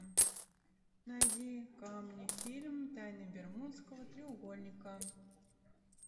найди ка мне фильм тайны бермудского треугольника